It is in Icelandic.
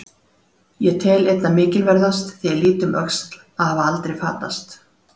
Ég tel einna mikilverðast, þegar ég lít um öxl, að hafa aldrei fatast.